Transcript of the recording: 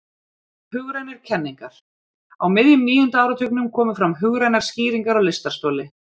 Hugrænar kenningar Á miðjum níunda áratugnum komu fram hugrænar skýringar á lystarstoli.